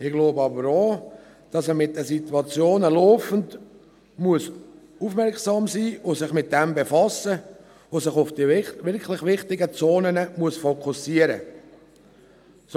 Ich glaube aber auch, dass man gegenüber den Situationen laufend aufmerksam sein muss, dass man sich damit befassen und dass man sich auf die wirklich wichtigen Zonen fokussieren muss.